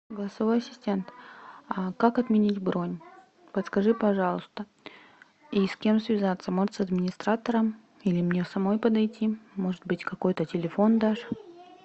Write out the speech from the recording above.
голосовой ассистент как отменить бронь подскажи пожалуйста и с кем связаться может с администратором или мне самой подойти может быть какой то телефон дашь